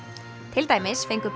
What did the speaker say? til dæmis fengu